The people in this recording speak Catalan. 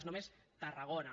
és només tarragona